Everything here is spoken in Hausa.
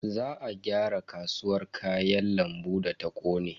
Za a gyara kasuwar Kayan lambu da ta kone.